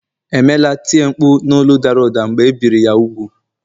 emela tie mkpu n’olu dara ụda mgbe e biri ya úgwù